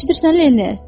Eşidirsən Leni?